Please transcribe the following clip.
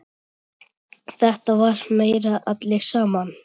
Þetta var meira allir saman.